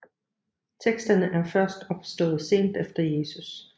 Teksterne er først opstået sent efter Jesus